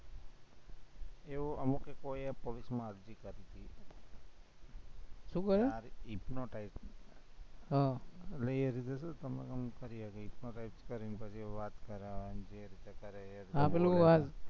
એવું અમુકે કોઈએ શું કહ્યું? hypnotize હમ એટલે એ રીતે શું તમને એમ કરી શકે, hypnotize કરીને પછી વાત કરે એ રીતે કરે, હા પેલું હા